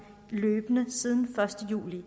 siden den første juli og